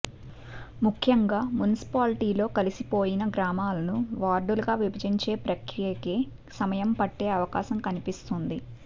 ముఖ్యంగా మున్సిపాలిటీల్లో కలిసిపోయిన గ్రామాలను వార్డులుగా విభజించే ప్రక్రియకే సమయం పట్టే అవకాశం కనిపిస్తోంది